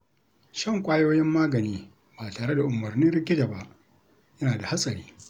Shan ƙwayoyin magani ba tare da umarnin likita ba yana da hatsari.